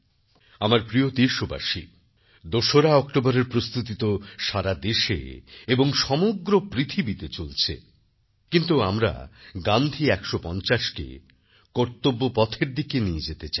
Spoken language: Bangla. আমার প্রিয় দেশবাসী২ অক্টোবরের প্রস্তুতি তো সারাদেশে এবং সমগ্র পৃথিবীতে চলছে কিন্তু আমরা গান্ধী ১৫০কেকর্তব্যপথের দিকে নিয়ে যেতে চাই